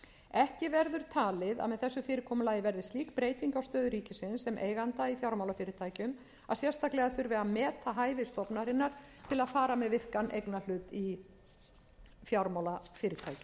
ekki verður talið að með þessu fyrirkomulagi verði slík breyting á stöðu ríkisins sem eiganda í fjármálafyrirtækjum að sérstaklega þurfi að meta hæfi stofnunarinnar til þess að fara með virkan eignarhlut í fjármálafyrirtækjum